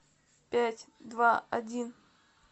пять два один